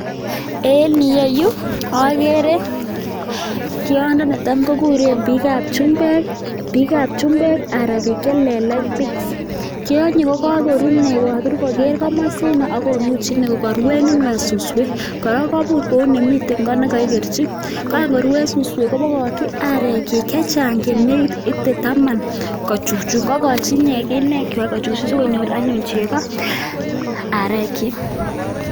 En yieyu agere tyondo ne tam kouren biikab chumbek aran biik che lelach pigs. Tyonyi ko koru ine kakabir kuker komosino akonuch ine kokaruen ine suswek, kora kabur kou ne miten koot ne kakikerchi, ka ngorue suswek kobokochi arek chich che chang che negit ite taman ko chuchun. Kokochi ine inechwa kochuchun sikonyor anyun chego arekchich.